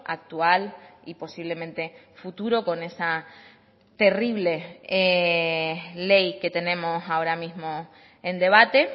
actual y posiblemente futuro con esa terrible ley que tenemos ahora mismo en debate